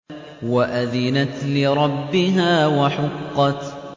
وَأَذِنَتْ لِرَبِّهَا وَحُقَّتْ